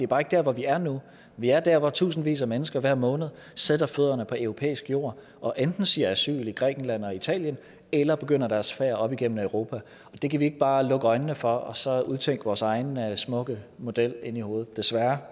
bare ikke der hvor vi er nu vi er der hvor tusindvis af mennesker hver måned sætter fødderne på europæisk jord og enten søger asyl i grækenland og italien eller begynder deres færd op igennem europa og det kan vi ikke bare lukke øjnene for og så udtænke vores egen smukke model inde i hovedet desværre